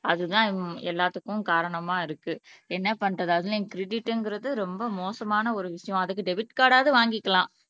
அதுதான் உம் எல்லாத்துக்கும் காரணமா இருக்கு என்ன பண்றது அதுலயும் கிரெடிட்ங்கிறது ரொம்ப மோசமான ஒரு விஷயம் அதுக்கு டெபிட் கார்டு ஆவது வாங்கிக்கலாம்